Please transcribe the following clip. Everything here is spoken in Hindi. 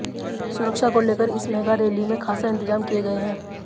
सुरक्षा को लेकर इस मेगा रैली में खासा इंतजाम किए गए हैं